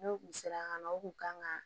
N'o kun sera ka na o kun kan ka